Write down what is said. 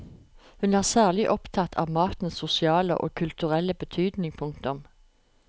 Hun er særlig opptatt av matens sosiale og kulturelle betydning. punktum